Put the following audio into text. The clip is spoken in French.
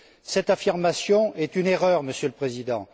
Cette affirmation est une erreur, Monsieur le Président.